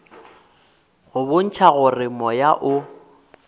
go bontšha gore moya o